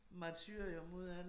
Martyrium ud af det